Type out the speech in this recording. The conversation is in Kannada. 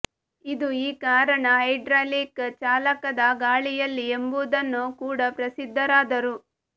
ಇದು ಈ ಕಾರಣ ಹೈಡ್ರಾಲಿಕ್ ಚಾಲಕದ ಗಾಳಿಯಲ್ಲಿ ಎಂಬುದನ್ನು ಕೂಡ ಪ್ರಸಿದ್ಧರಾದರು